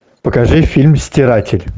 покажи фильм стиратель